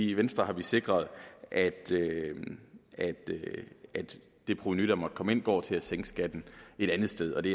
i venstre har vi sikret at at det det provenu der måtte komme ind går til at sænke skatten et andet sted og det